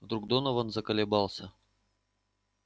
вдруг донован заколебался